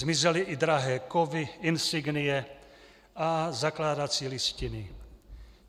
Zmizely i drahé kovy, insignie a zakládací listiny.